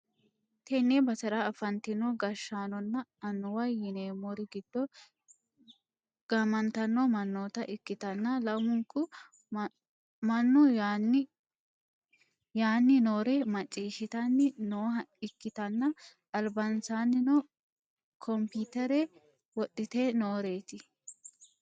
tenne basera afantino gashshaanonna annuwaho yineemmori giddo gamantanno mannoota ikkitanna lamunku mannu yaanni noore maccishhsitanni nooha ikkitanna, albansaannino kompiyutere wodhite nooreeti.